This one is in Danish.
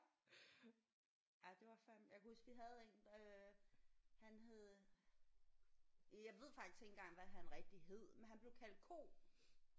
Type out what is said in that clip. Ej det var fandeme jeg kan huske vi havde en der øh han hed øh jeg ved faktisk ikke hvad han rigtigt hed men han blev kaldt Ko